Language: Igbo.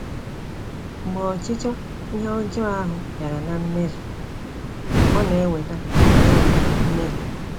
“Mgbe ọchịchọ ihe ọjọọ ahụ bịara na mmezu, ọ na eweta na eweta mmehie.”